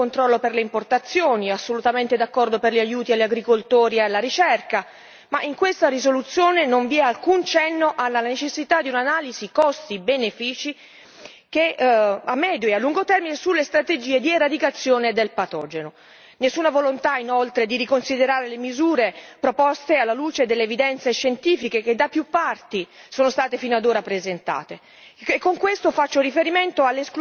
Ok, siamo d'accordo sulle misure di controllo per le importazioni, assolutamente d'accordo sugli aiuti agli agricoltori e alla ricerca, ma in questa risoluzione non vi è alcun cenno alla necessità di un'analisi costi benefici, a medio e a lungo termine, sulle strategie di eradicazione del patogeno. Non vi è nessuna volontà, inoltre, di riconsiderare le misure proposte alla luce delle evidenze scientifiche che da più parti sono state fino ad ora presentate,